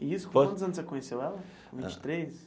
E isso, com quantos anos você conheceu ela com vinte e três?